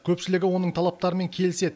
көпшілігі оның талаптарымен келіседі